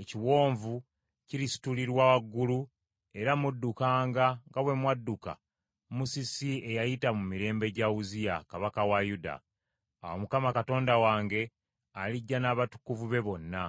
ekiwonvu kirisitulirwa waggulu era muddukanga nga bwe mwadduka musisi eyayita mu mirembe gya Uzziya, kabaka wa Yuda. Awo Mukama Katonda wange alijja n’abatukuvu be bonna.